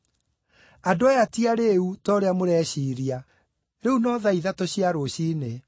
Andũ aya ti arĩĩu, ta ũrĩa mũreciiria. Rĩu nĩ thaa ithatũ tu cia rũciinĩ!